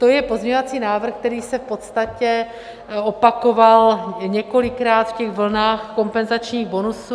To je pozměňovací návrh, který se v podstatě opakoval několikrát v těch vlnách kompenzačních bonusů.